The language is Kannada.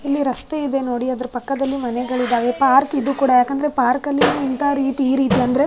ಇಲ್ಲಿ ರಸ್ತೆ ಇದೆ ನೋಡಿ ಅದ್ರ ಪಕ್ಕದಲ್ಲಿ ಮನೆಗಳಿದಾವೆ ಪಾರ್ಕ್ ಇದು ಕೂಡ ಯಾಕಂದ್ರೆ ಪಾರ್ಕ್ ಅಲ್ಲಿ ಇಂತ ರೀತಿ ಈ ರೀತಿ ಅಂದ್ರೆ --